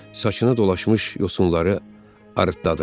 Saçına dolaşmış yosunları arıtladılar.